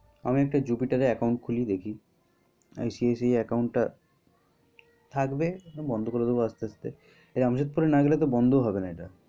আমি একটা jupiter এ account খুলি দেখি। ICIC account টা থাকবে বন্ধ করে দেব আস্তে আস্তে। জামশেদপুর না গেলে তো বন্ধ হবে না এটা।